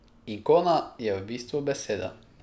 Ikona je v bistvu beseda.